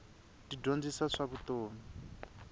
ti dyondzisa swa vutomi